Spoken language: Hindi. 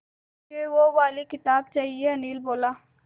मुझे वो वाली किताब चाहिए अनिल बोला